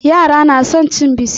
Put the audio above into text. Yara na son cin biskit.